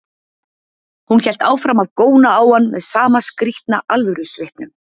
Hún hélt áfram að góna á hann með sama skrýtna alvörusvipnum.